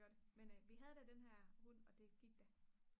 men vi havde da den der hund og det gik da